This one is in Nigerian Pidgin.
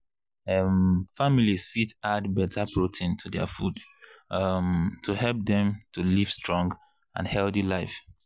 um families fit add better protein to their food um to help dem to live strong and healthy life.